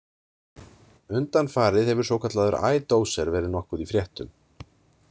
Undanfarið hefur svokallaður I-Doser verið nokkuð í fréttum.